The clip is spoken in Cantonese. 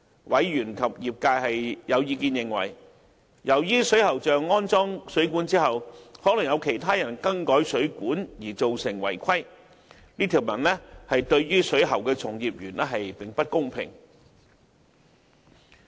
委員及業界有意見認為，由於水喉匠安裝水管後，可能會因曾有其他人更改水管而造成違規情況，故這條文對水喉從業員並不公平。